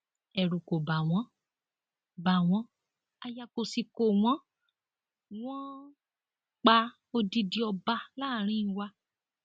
ẹrù kò ba wọn ba wọn aya kó sì kó wọn wọn pa odidi ọba láàrin wa